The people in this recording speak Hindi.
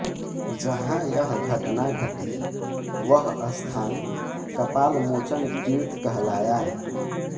जहां यह घटना घटी वह स्थान कपालमोचनतीर्थ कहलाया